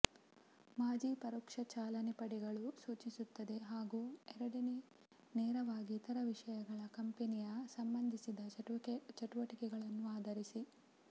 ಮಾಜಿ ಪರೋಕ್ಷ ಚಾಲನೆ ಪಡೆಗಳು ಸೂಚಿಸುತ್ತದೆ ಹಾಗೂ ಎರಡನೇ ನೇರವಾಗಿ ಇತರ ವಿಷಯಗಳ ಕಂಪೆನಿಯ ಸಂಬಂಧಿಸಿದ ಚಟುವಟಿಕೆಗಳನ್ನು ಆಧರಿಸಿ